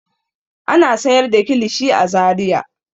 Ana sayar da kilishi a Zariya.